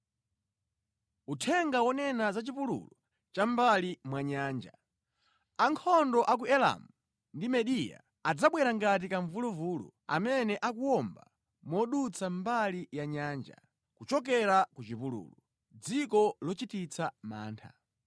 Uthenga wonena za chipululu cha mʼmbali mwa Nyanja. Ankhondo a ku Elamu ndi Mediya adzabwera ngati kamvuluvulu amene akuwomba modutsa mʼmbali ya nyanja, kuchokera ku chipululu, dziko lochititsa mantha.